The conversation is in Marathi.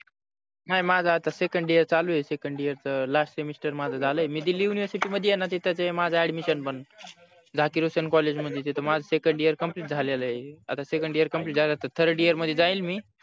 नाही माझ आता second year चालू आहे second year च last semester माझ झाल आहे मी दिल्ली university मध्ये आहे णा तिथे ते माझ admission बनत झांसी रोशन college मध्ये तिथे माझ second year complete झालेल आहे आता second year complete झालं आता third year मध्ये जाईल मी